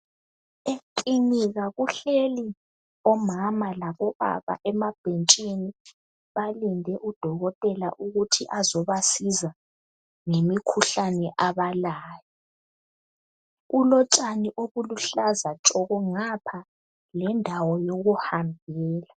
Eklinika uhleli omama labobaba emabhentshini balinde udokotela ukuthi azobasiza ngemikhuhlane abalayo kulotshani obuluhlaza tshoko ngapha lendawo yokuhambela